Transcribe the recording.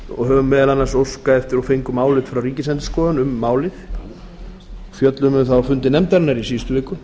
og höfum meðal annars óskað eftir og fengum álit frá ríkisendurskoðun um málið við fjölluðum um það á fundum nefndarinnar í síðustu viku